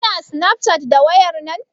Kina snafcat da wayar nan?